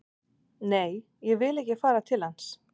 Nei, ég vil ekki fara til hans